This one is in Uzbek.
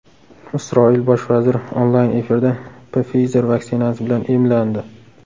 Isroil bosh vaziri onlayn efirda Pfizer vaksinasi bilan emlandi.